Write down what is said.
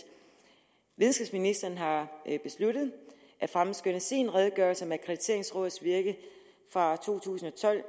videnskabsministeren har besluttet at fremskynde sin redegørelse om akkrediteringsrådets virke fra to tusind og tolv